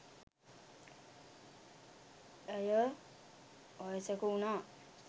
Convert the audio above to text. ඇය වයසක වුනා